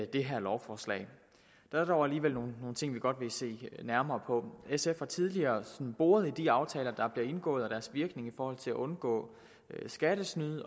det her lovforslag der er dog alligevel nogle ting vi godt vil se nærmere på sf har tidligere boret i de aftaler der er blevet indgået og deres virkning i forhold til at undgå skattesnyd at